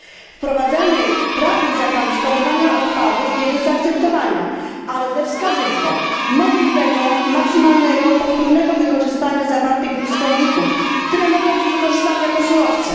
Wprowadzanie prawnych zakazów składowania odpadów jest do zaakceptowania, ale ze wskazówką możliwego, maksymalnego powtórnego wykorzystywania zawartych w nich składników, które mogą być wykorzystane jako surowce.